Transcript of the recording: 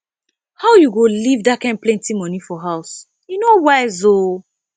how you go leave dat kin plenty money for house e no wise ooo